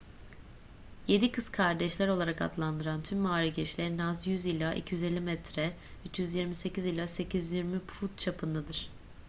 yedi kız kardeşler olarak adlandırılan tüm mağara girişleri en az 100 ila 250 metre 328 ila 820 foot çapındadır